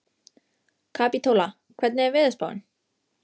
Kapítóla, hvernig er veðurspáin?